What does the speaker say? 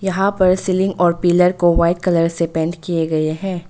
यहां पे सीलिंग और पिलर को वाइट कलर से पेंट किए गए हैं।